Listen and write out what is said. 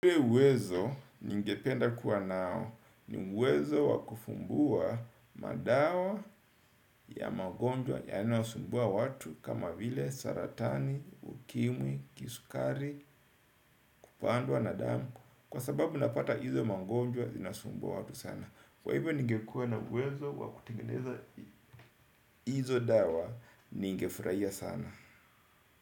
Ule uwezo ningependa kuwa nao ni uwezo wakufumbua madawa ya magonjwa ya yanayosumbua watu kama vile saratani, ukimwi, kisukari, kupandwa, nadamu, kwa sababu napata hizo mangonjwa zinasumbua watu sana. Kwa hivyo ningekua na uwezo wakutengeneza hizo dawa ningefurahia sana.